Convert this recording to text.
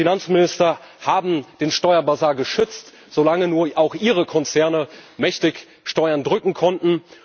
Die Finanzminister haben den Steuerbasar geschützt, solange nur auch ihre Konzerne mächtig Steuern drücken konnten.